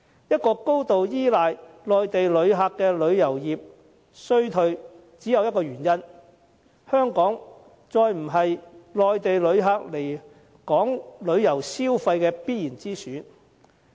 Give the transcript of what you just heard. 一個高度依賴外地旅客的旅遊業衰退只有一個原因，就是香港再不是外地旅客旅遊消費的必然之選。